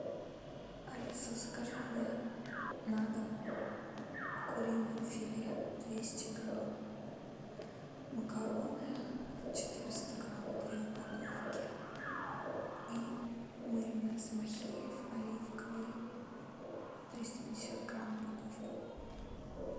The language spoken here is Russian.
алиса закажи мне на дом куриное филе двести грамм макароны четыреста грамм две упаковки и майонез махеев оливковый триста пятьдесят грамм упаковку